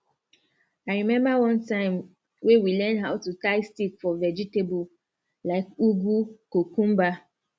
i remember one time wey we learn how to tie stick for vegetable like ugu cucumber